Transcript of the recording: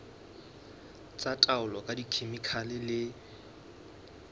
tsa taolo ka dikhemikhale le